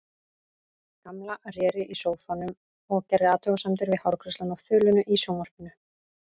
Gamla réri í sófanum og gerði athugasemdir við hárgreiðsluna á þulunni í sjónvarpinu.